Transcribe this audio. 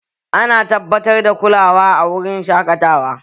Ana tabbatar da kulawa a wurin shaƙatawa